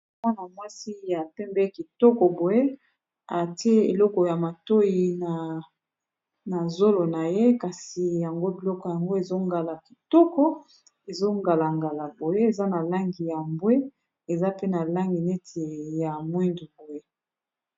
Awa na mwasi ya pembe kitoko boye atie eleko ya matoyi na zolo. Na ye kasi yango biloko yango ezongala kitoko ezongala ngala boye, eza na langi ya mbwe, eza pe na langi neti ya mwindu boye.